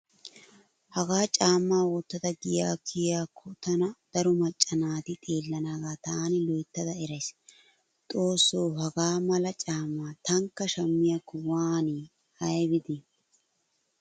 Hagaa caammaa wottada giyaa kiyiyaakko tana daro macca naati xeellanaagaa taani loyttada erays. Xoosso hagaa mala caammaa tankka shammiyaakko woni aybi de'i.